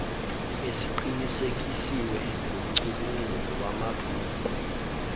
esiqinisekiswe ngumcubunguli wamabhuku